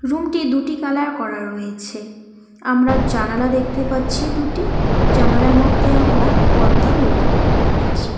রুমটি দুটি কালার করা রয়েছে আমরা জানালা দেখতে পাচ্ছি দুটি জানালার মধ্যে আমরা পর্দাও লক্ষ করতে পারছি।